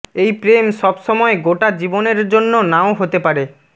এই প্রেম সব সময় গোটা জীবনের জন্য নাও হতে পারে